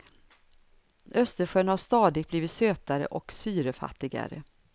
Östersjön har stadigt blivit sötare och syrefattigare.